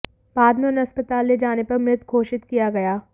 बाद में उन्हें अस्पताल ले जाने पर मृत घोषित किया गया